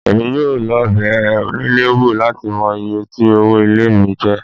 Èmi yóò lọ bẹ onílé wò láti mọ iye tí owó ilé mi jẹ́